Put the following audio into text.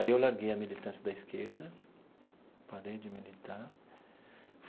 Aí eu larguei a militância da esquerda, parei de militar.